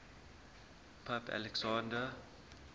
pope alexander